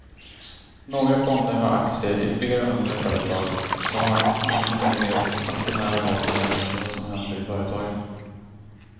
Några fonder har aktier i flera hundra företag och har ingen möjlighet att på nära håll följa med i vad som händer i företagen.